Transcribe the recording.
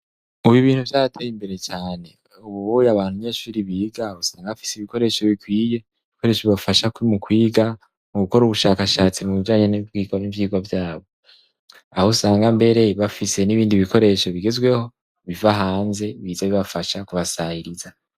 ubu ibintu vyarateye imbere cane ubu uye abanyeshuri biga usanga bafise ibikoresho bikwiye ibikoresho bibafasha mu kwiga mu gukora ubushakashatsi mu bijanye n'ububiko n'ivyigwa vyabo aho usanga mbere bafise n'ibindi bikoresho bigezweho biva hanze biza bibafasha kubasangiza